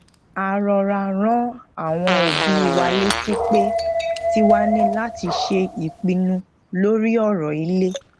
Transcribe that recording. a rọra rán àwọn obi wa létí pé tiwa ni lati se ipinnu lori oro ile